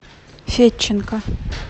федченко